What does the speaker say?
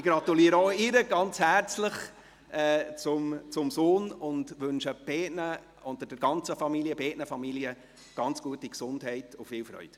Ich gratuliere auch ihr ganz herzlich zu ihrem Sohn und wünsche beiden und beiden Familien eine gute Gesundheit und viel Freude.